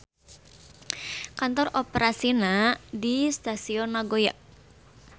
Kantor operasina di Stasion Nagoya.